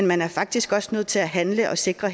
man er faktisk også nødt til at handle og sikre